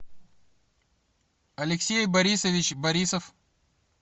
алексей борисович борисов